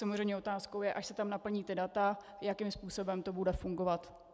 Samozřejmě otázkou je, až se tam naplní data, jakým způsobem to bude fungovat.